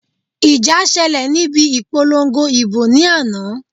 Ìjà ṣẹlẹ̀ níbi ìpolongo ìbò ní àná